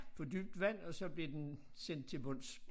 På dybt vand og så blev den sendt til bunds